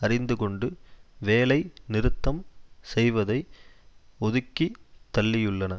அறிந்து கொண்டு வேலை நிறுத்தம் செய்வதை ஒதுக்கி தள்ளியுள்ளன